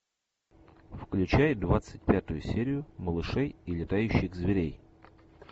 включай двадцать пятую серию малышей и летающих зверей